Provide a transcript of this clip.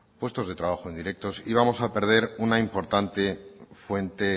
puestos de trabajos indirectos y vamos a perder una importante fuente